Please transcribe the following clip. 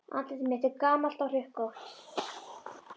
Andlit mitt er gamalt og hrukkótt.